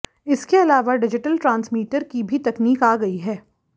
इसके अलावा digital transmitter की भी तकनीक आ गई है